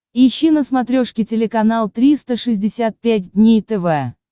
ищи на смотрешке телеканал триста шестьдесят пять дней тв